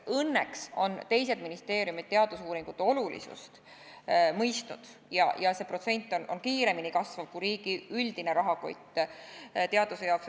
Õnneks on teised ministeeriumid teadusuuringute olulisust mõistnud ja see protsent on kiiremini kasvanud kui riigi üldine rahakott teaduse jaoks.